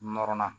Nɔrɔnna